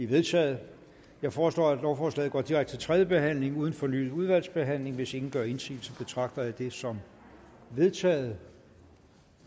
vedtaget jeg foreslår at lovforslaget går direkte til tredje behandling uden fornyet udvalgsbehandling hvis ingen gør indsigelse betragter jeg det som vedtaget